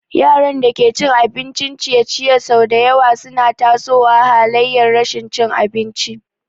Yaran da ke cin abincin ciye-ciye sau da yawa suna tasowa halayar rashin cin abinci.